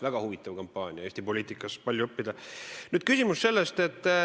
Väga huvitav kampaania Eesti poliitikas, sellest on palju õppida.